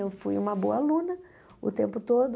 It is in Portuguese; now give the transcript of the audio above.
Eu fui uma boa aluna o tempo todo.